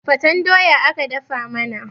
fatefaten doya aka dafa mana